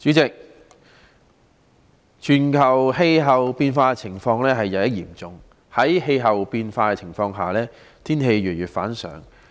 代理主席，全球氣候變化的情況日益嚴重，在氣候變化的情況下，天氣越來越反常。